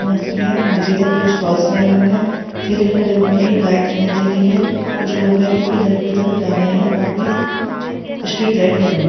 रंग की है पीछे की तरफ कुछ स्टोल लगे हुए है ठेले खड़े हुए है एक गाय दिखाई दे रही है कुछ लोग है जोकि इधर के उअधर जा रहे है और भी स्ट्रीट लाइट लगी हुई है।